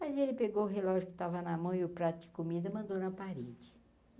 Mas ele pegou o relógio que estava na mão e o prato de comida mandou na parede.